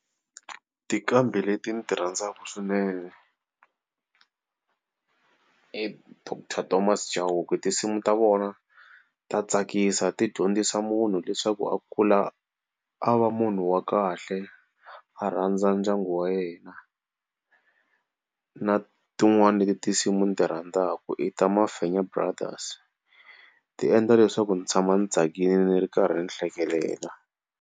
Tinqambi leti ni ti rhandzaka swinene i Doctor Thomas Chauke. Tinsimu ta vona ta tsakisa ti dyondzisa munhu leswaku a kula a va munhu wa kahle a rhandza ndyangu wa yena na tin'wana leti tinsimu ni ti rhandzaka i ta Mafenya brothers ti endla leswaku ndzi tshama ndzi tsakile ni ri karhi ni hlekelela.